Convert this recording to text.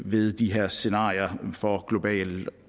ved de her scenarier for global